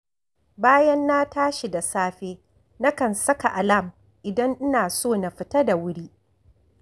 Bayan na tashi da safe, nakan saka alam idan ina so na fita da wuri